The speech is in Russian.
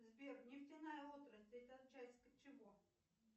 сбер нефтяная отрасль это часть чего